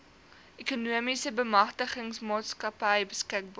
ekonomiese bemagtigingsmaatskappy beskikbaar